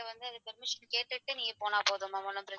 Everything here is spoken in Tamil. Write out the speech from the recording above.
Permission கேட்டுட்டு போனா போதும் ma'am ஒண்ணும் பிரச்சனை இல்ல.